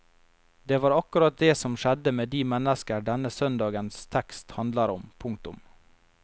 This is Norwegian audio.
Det var akkurat det som skjedde med de mennesker denne søndagens tekst handler om. punktum